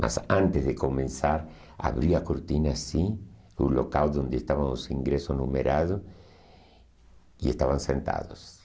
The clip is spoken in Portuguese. Mas antes de começar, abri a cortina assim, o local onde estavam os ingressos numerados, e estavam sentados.